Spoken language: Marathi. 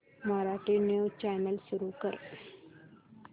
मराठी न्यूज चॅनल सुरू कर